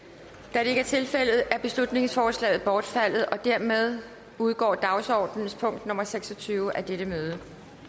da det ikke er tilfældet er beslutningsforslaget bortfaldet og dermed udgår dagsordenens punkt nummer seks og tyve af dette møde